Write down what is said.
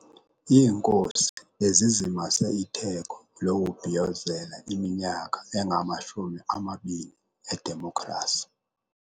Iinkosi bezizimase itheko lokubhiyozela iminyaka engamashumi amabini edemokhrasi.